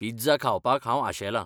Pizza खावपाक हांव आशेलां.